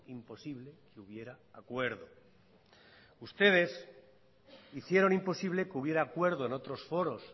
imposible que hubiera acuerdo ustedes hicieron imposible que hubiera acuerdo en otros foros